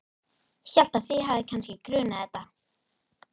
Hélt að þig hefði kannski grunað þetta.